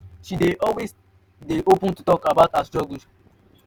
na um dis um kain small set-back wey you um gree make e affect you?